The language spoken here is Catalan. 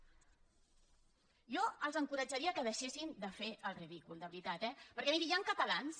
jo els encoratjaria que deixessin de fer el ridícul de veritat eh perquè mirin hi han catalans